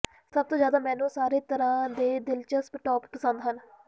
ਸਭ ਤੋਂ ਜ਼ਿਆਦਾ ਮੈਨੂੰ ਸਾਰੇ ਤਰ੍ਹਾਂ ਦੇ ਦਿਲਚਸਪ ਟੋਪ ਪਸੰਦ ਹਨ